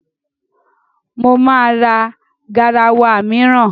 Mo ma ra garawa mìíràn.